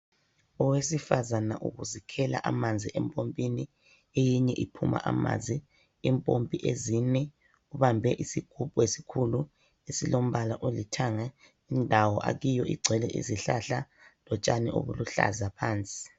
Owesifazana uzikhela amanzi empompini, eyinye iphuma amanzi, impompi ezine, ubambe isgubhu esikhulu esilombala olithanga indawo akiyo igcwele izihlahla lotshani obuluhlaza phansi.